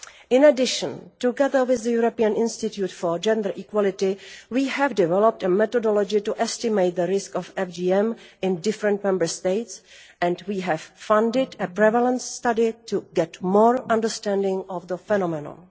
In addition, together with the European Institute for Gender Equality, we have developed a methodology to estimate the risk of FGM in different Member States, and we have funded a prevalence study to get more understanding of the phenomenon.